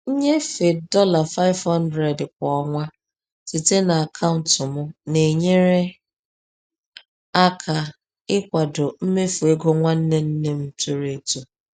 Nnyefe dollar 500 kwa ọnwa site na akaụntụ m na-enyere aka ịkwado mmefu ego nwanne nne m toro eto.